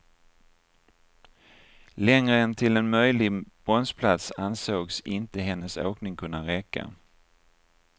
Längre än till en möjlig bronsplats ansågs inte hennes åkning kunna räcka.